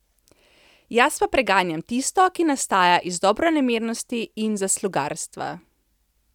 Jaz pa preganjam tisto, ki nastaja iz dobronamernosti in zaslugarstva.